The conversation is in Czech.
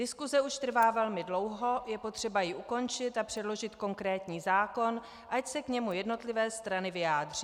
Diskuse už trvá velmi dlouho, je potřeba ji ukončit a předložit konkrétní zákon, ať se k němu jednotlivé strany vyjádří."